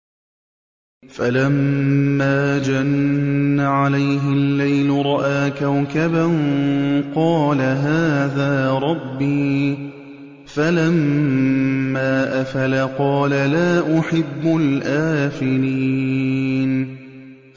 فَلَمَّا جَنَّ عَلَيْهِ اللَّيْلُ رَأَىٰ كَوْكَبًا ۖ قَالَ هَٰذَا رَبِّي ۖ فَلَمَّا أَفَلَ قَالَ لَا أُحِبُّ الْآفِلِينَ